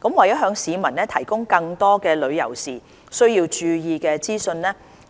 為了向市民提供更多旅遊時需要注意的資訊，